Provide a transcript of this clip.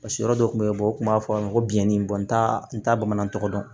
Paseke yɔrɔ dɔ tun bɛ u kun b'a fɔ a ma ko biyɛn in n t'a n t'a bamanan tɔgɔ dɔn